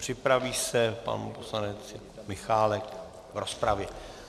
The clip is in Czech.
Připraví se pan poslanec Michálek v rozpravě.